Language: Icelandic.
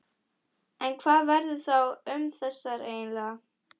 En hvað verður þá um þessar einingar?